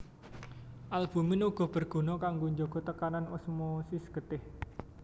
Albumin uga berguna kanggo njaga tekanan osmosis getih